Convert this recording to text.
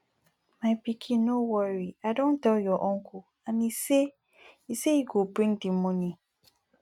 my pikin no worry i don tell your uncle and he say he say he go bring the money